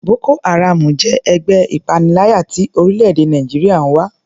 Boko haram jẹ́ ẹgbẹ́ ìpaniláyà tí orílẹ̀-èdè Nàìjíríà ń wá.